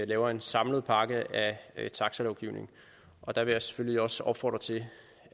laver en samlet pakke af taxalovgivning og der vil jeg selvfølgelig også opfordre til